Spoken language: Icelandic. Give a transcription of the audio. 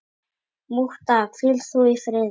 Mútta, hvíl þú í friði.